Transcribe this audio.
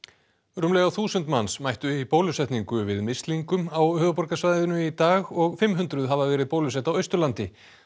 rúmlega þúsund manns mættu í bólusetningu við mislingum á höfuðborgarsvæðinu í dag og fimm hundruð hafa verið bólusett á Austurlandi